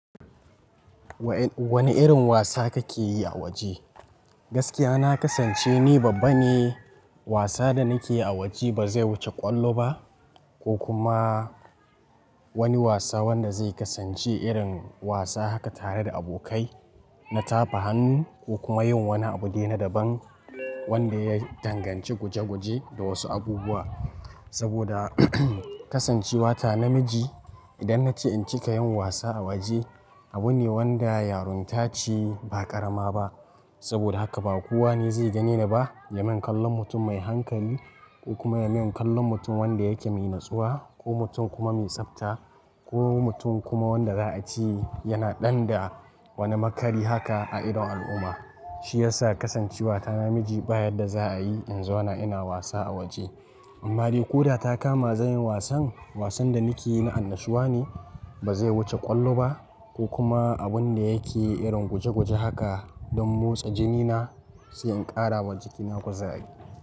Wane irin wasa kake yi a waje. Gaskiya na kasance ni babba ne, wasa da nake yi a waje ba zai wuce ƙwallo ba ko kuma wani wasa wanda zai kasance irin wasa haka tare da abokai, na tafa hannu ko kuma yin wani abu dai na daban wanda ya danganci guje guje da wasu abubuwa. Saboda kasancewa ta namiji idan naci incika yin wasa a waje abu ne wanda yarunta ce ba ƙarama ba. Saboda haka ba kowane zai gane ni ba, yamin kallon mutum mai hankali ko kuma yamin kallon mutum wanda yake mai natsuwa ko mutum kuma mai tsafta ko mutum kuma wanda za a ce yana ɗan da wani makari haka a idon al'umma. Shi yasa kasancewa ta namiji babu yarda za a yi in zauna ina wasa a waje. Amma dai ko da ta kama zan yi wasan, wasan da nake yi na annashuwa ne bazai wuce kwallo ba ko kuma abin da ya nake yi guje guje haka don mosta jinina sai in kara wa jikina kuzari.